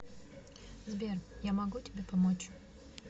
сбер я могу тебе помочь